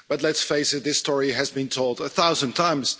But let's face it, this story has been told a thousand times.